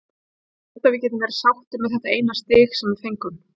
Ég held að við getum verið sáttir með þetta eina stig sem við fengum.